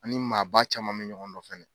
Ani maaba caman bɛ ɲɔgɔn nɔfɛ yen.